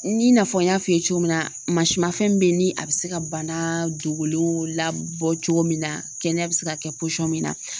I n'a fɔ n y'a f'i ye cogo min na masimanfɛn min bɛ ye ni a bɛ se ka bana dogolen la bɔ cogo min na kɛnɛya bɛ se ka kɛ poyisɔn min na.